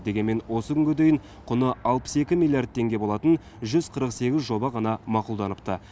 дегенмен осы күнге дейін құны алпыс екі миллиард теңге болатын жүз қырық сегіз жоба ғана мақұлданыпты